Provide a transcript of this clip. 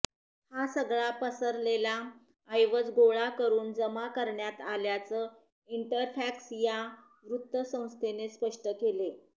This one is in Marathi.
हा सगळा पसरलेला ऐवज गोळा करून जमा करण्यात आल्याचं इंटरफॅक्स या वृत्तसंस्थेने स्पष्ट केलं